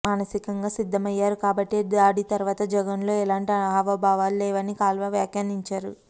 మానసికంగా సిద్ధమయ్యారు కాబట్టే దాడి తర్వాత జగన్లో ఎలాంటి హావభావాలు లేవని కాల్వ వ్యాఖ్యానించారు